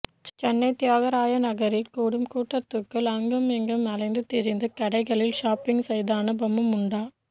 சென்னை தியாகராய நகரில் கூடும் கூட்டத்துக்குள் அங்குமிங்கும் அலைந்து திரிந்து கடைகளில் ஷாப்பிங் செய்த அனுபவம் உண்டா